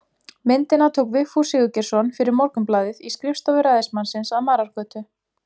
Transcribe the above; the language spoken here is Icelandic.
Myndina tók Vigfús Sigurgeirsson fyrir Morgunblaðið í skrifstofu ræðismannsins að Marargötu